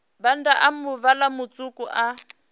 bannda a muvhala mutswuku i